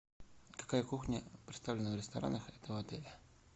какая кухня представлена в ресторанах этого отеля